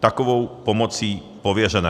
takovou pomocí pověřené.